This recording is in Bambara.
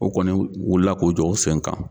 O kɔni o wulila k'o jɔ o dɛn kan.